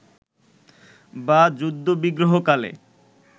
বা যুদ্ধবিগ্রহকালে